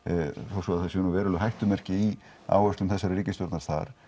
þó svo það séu veruleg hættumerki í áherslum þessarar ríkisstjórnar þar